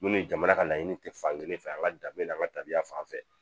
Minnu jamana ka laɲini tɛ fankelen fɛ an ka dabila an ka tabiya fan fɛ